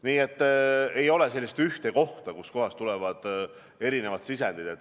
Nii et ei ole sellist ühte kohta, kust tulevad erinevad sisendid.